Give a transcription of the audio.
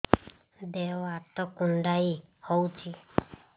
ଦେହ ହାତ କୁଣ୍ଡାଇ ହଉଛି